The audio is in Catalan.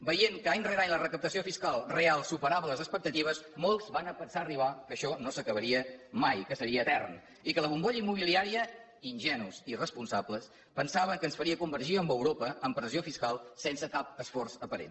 veient que any rere any la recaptació fiscal real superava les expectatives molts van arribar a pensar que això no s’acabaria mai que seria etern i que la bombolla immobiliària ingenus i irresponsables pensaven que ens faria convergir amb europa en pressió fiscal sense cap esforç aparent